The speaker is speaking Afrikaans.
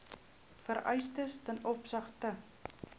vereistes ten opsigte